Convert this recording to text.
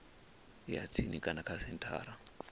ya tsini kana kha senthara